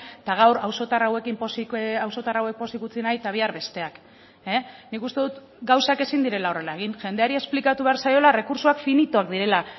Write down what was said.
eta gaur auzotar hauekin pozik auzotar hauek pozik utzi nahi eta bihar besteak nik uste dut gauzak ezin direla horrela egin jendeari esplikatu behar zaiola errekurtsoak finitoak direla